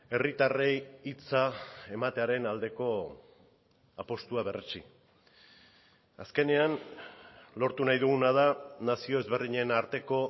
herritarrei hitza ematearen aldeko apustua berretsi azkenean lortu nahi duguna da nazio ezberdinen arteko